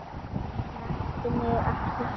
Snertu mig ekki svona.